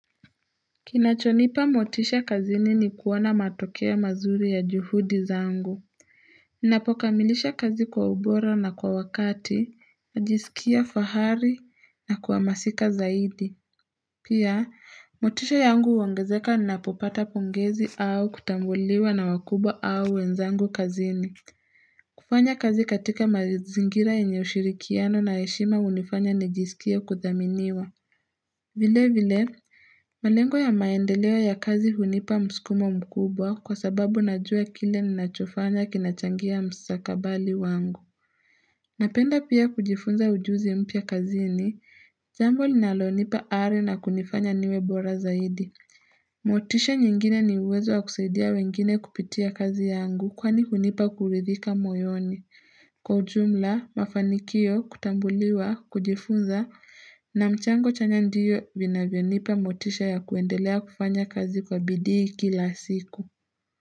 Kinachonipa motisha kazini ni kuwana matokeo mazuri ya juhudi zangu. Ninapokamilisha kazi kwa ubora na kwa wakati, najisikia fahari na kwa masika zaidi. Pia, motisha yangu huongezeka napopata pongezi au kutambuliwa na wakubwa au wenzangu kazini. Kufanya kazi katika mazingira enye ushirikiano na heshima unifanya njisikie kudhaminiwa. Vile vile. Malengo ya maendeleo ya kazi hunipa msikumo mkubwa kwa sababu najua kile ninachofanya kinachangia mstakabali wangu. Napenda pia kujifunza ujuzi mpya kazini, jambo linalo nipa are na kunifanya niwe bora zaidi. Motisha nyingine ni uwezo wa kusaidia wengine kupitia kazi yangu kwani hunipa kuridhika moyoni. Kwa ujumla, mafanikio, kutambuliwa, kujifunza, na mchango chanya ndiyo vinavyonipa motisha ya kuendelea kufanya kazi kwa bidii kila siku.